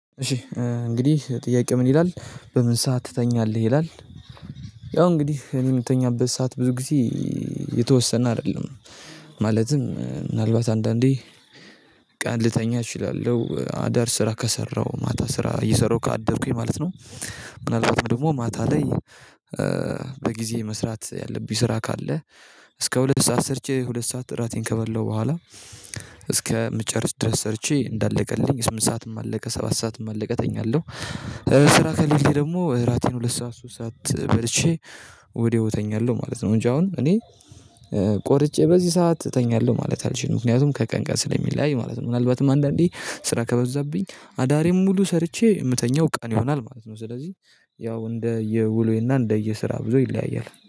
እሺ እንግዲህ ጥያቄው ምን ይላል? በምን ሰዓት ትተኛለህ ይላል? ያው እንግዲህ እኔ የምትተኛበት ሰዓት ብዙ ጊዜ የተወሰነ አይደለም። ማለትም ምናልባት አንዳንዴ ቀን ልተኛ እችላለሁ አዳር ስራ ከሰራው ማታ ስራ እየሰራሁ ካደርኩኝ ማለት ነው። ምናልባት ደግሞ ማታ ላይ በጊዜ መስራት ያለብኝ ስራ ካለ እስከ ሁለት ሰዓት ሰርቼ ሁለት ሰዓት እራቴን ከበላሁ በኋላ እስከምጨርስ ድረስ ሰርቼ እንዳለቀልኝ ስምንት ሰዓትም አለቀ ሰባት ሰዓትም አለቀተ እተኛለሁ። ስራ ከሌለኝ ደግሞ እራቴን ሁለት ሰዓት ሶስት ሰዓት በልቼ ወዲያው እተኛለሁ ማለት ነው። እንጂ አሁን እኔ ቆርጬ በዚህ ሰዓት እተኛለሁ ማለት አልችልም ምክንያቱም ከቀን ቀን ስለሚለያይ ማለት ነው። ምናልባትም አንዳንዴ ስራ ከበዛብኝ አዳሬም ሙሉ ሰርቼ የምተኛው ቀን ይሆናል ማለት ነው። ስለዚህ ያው እንደ የውሉዬና እንደየስራው ብዙ ይለያያል